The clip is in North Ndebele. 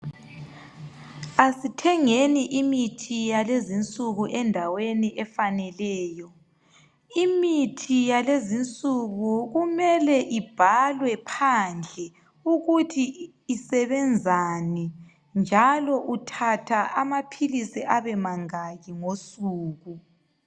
Asithengeni imithi yalezinsuku endaweni efaneleyo. Imithi yalezinsuku kumele ibhalwe phandle ukuthi isebenzani njalo uthatha amapilisi abe mangaki ngosuku.